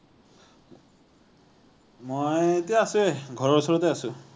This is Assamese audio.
মযই এতিয়া আছো এ ঘৰৰ ওচৰতে আছো।